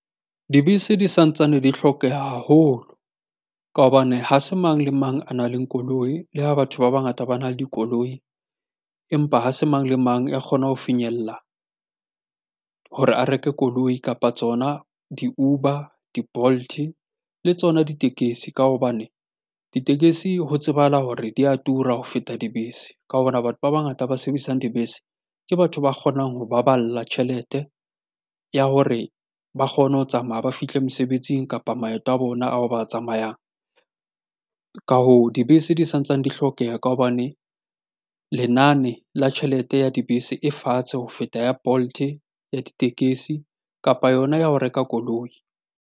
Dibese di santsane di hlokeha haholo, ka hobane ha se mang le mang a nang le koloi, le ha batho ba bangata ba na le dikoloi, empa ha se mang le mang ya kgona ho finyella hore a reke koloi kapa tsona di-Uber, di-Bolt le tsona ditekesi. Ka hobane ditekesi ho tsebahala hore di a tura ho feta dibese, ka hobane batho ba bangata ba sebedisang dibese ke batho ba kgonang ho baballa tjhelete ya hore ba kgone ho tsamaya ba fihle mesebetsing kapa maeto a bona ao ba tsamayang. Ka hoo, dibese di santsane di hlokeha ka hobane, lenane la tjhelete ya dibese e fatshe ho feta ya Bolt, ya ditekesi kapa yona ya ho reka koloi.